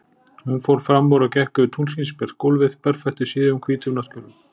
Hún fór fram úr og gekk yfir tunglskinsbjart gólfið, berfætt í síðum, hvítum náttkjólnum.